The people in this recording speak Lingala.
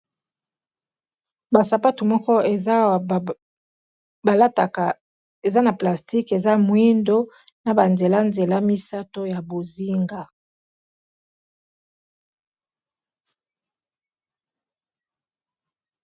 Basapatu moko eza awa balataka eza na plastique, eza mwindo na banzela nzela misato ya bozinga.